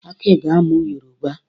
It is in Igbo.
Aki ga-amụ Yoroba.